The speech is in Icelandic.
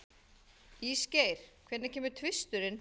Ísgeir, hvenær kemur tvisturinn?